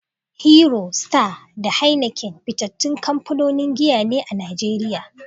Hero, Star, da Heineken fitattun kamfanonin giya ne a Najeriya.